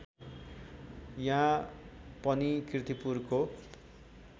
यहाँ पनि किर्तीपुरको